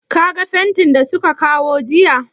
Ka ga fentin da su ka kawo jiya?